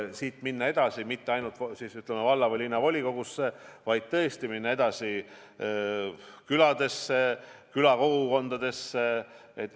Ei tule minna mitte ainult valla- ja linnavolikogudesse, vaid tuleb minna edasi küladesse, külakogukondadesse.